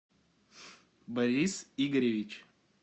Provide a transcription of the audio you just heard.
борис игоревич